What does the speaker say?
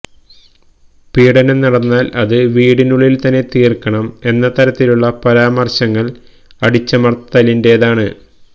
പീഡനം നടന്നാല് അത് വീടിനുള്ളില് തന്നെ തീര്ക്കണം എന്ന തരത്തിലുള്ള പരാമര്ശങ്ങള് അടിച്ചമര്ത്തലിന്റേതാണ്